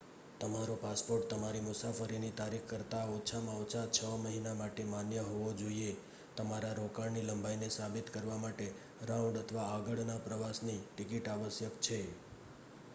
તમારો પાસપોર્ટ તમારી મુસાફરીની તારીખ કરતાં ઓછામાં ઓછા 6 મહિના માટે માન્ય હોવો જોઈએ. તમારા રોકાણની લંબાઈને સાબિત કરવા માટે રાઉન્ડ/આગળ નાં પ્રવાસની ટિકિટ આવશ્યક છે